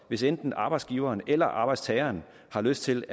hvis enten arbejdsgiveren eller arbejdstageren har lyst til